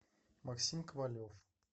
максим ковалев